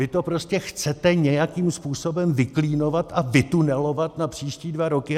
Vy to prostě chcete nějakým způsobem vyklínovat a vytunelovat na příští dva roky!